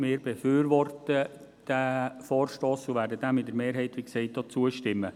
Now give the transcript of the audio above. Wir befürworten diesen Vorstoss und werden ihm mehrheitlich auch zustimmen.